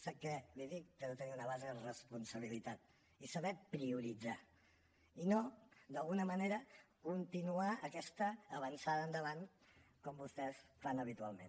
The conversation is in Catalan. sap què li dic que ha de tenir una base de responsabilitat i saber prioritzar i no d’alguna manera continuar aquesta avançada endavant com vostès fan habitualment